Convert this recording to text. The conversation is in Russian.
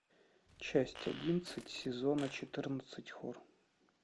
часть одиннадцать сезона четырнадцать хор